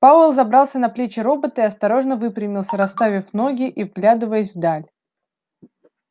пауэлл забрался на плечи робота и осторожно выпрямился расставив ноги и вглядываясь в даль